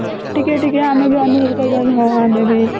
ଟିକେ ଟିକେ ଆମେ ବି ଆମେ ଯଦି କହିବା ହଉ ଆମେ ବି